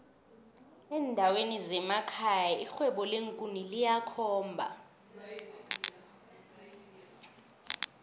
endaweni zemekhaya irhwebo leenkuni liyakhomba